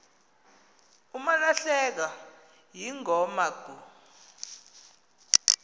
umalahlekwa yingoma kuh